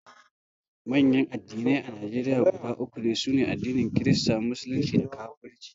manyan addinai a Najeriya guda uku ne: sune addinin kirista, musulunci da kafirci